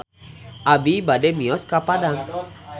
Abi bade mios ka Padang